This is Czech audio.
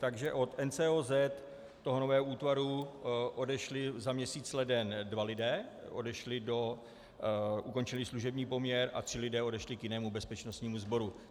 Takže od NCOZ, toho nového útvaru, odešli za měsíc leden dva lidé, ukončili služební poměr, a tři lidé odešli k jinému bezpečnostnímu sboru.